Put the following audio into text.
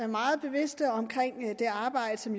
meget bevidste om det arbejde som